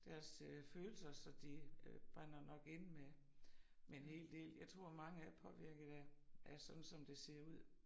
Deres øh følelser så de øh brænder nok inde med med en hel del jeg tror mange er påvirket af af sådan som det ser ud